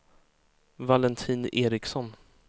Valentin Ericson